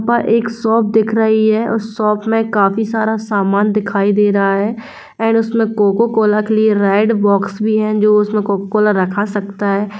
यहां पर एक शॉप दिख रही है उस शॉप मे काफी सारा सामान दिखाई दे रहा है एंड उसमे कोको कोला के लिए रेड बॉक्स भी है जो उसमे कोको कोला रखा सखता--